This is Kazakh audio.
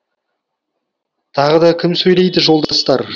тағы да кім сөйлейді жолдастар